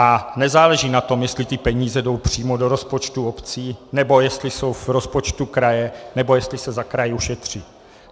A nezáleží na tom, jestli ty peníze jsou přímo do rozpočtu obcí, nebo jestli jsou v rozpočtu kraje, nebo jestli se za kraj ušetří.